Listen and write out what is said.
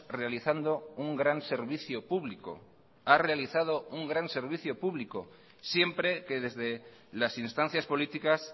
realizando un gran servicio público ha realizado un gran servicio público siempre que desde las instancias políticas